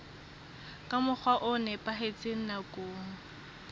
ka mokgwa o nepahetseng nakong